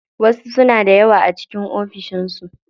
Wasu suna da yawa a cikin ofishin su.